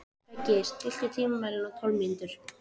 Beggi, stilltu tímamælinn á tólf mínútur.